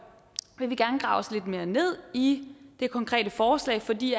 grave lidt mere ned i det konkrete forslag fordi